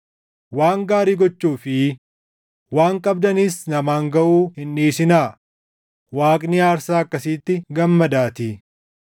Waan gaarii gochuu fi waan qabdanis namaan gaʼuu hin dhiisinaa; Waaqni aarsaa akkasiitti gammadaatii.